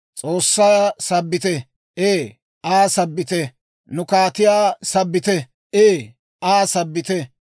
S'oossaa sabbite; ee, Aa sabbite. Nu kaatiyaa sabbite; ee, Aa sabbite.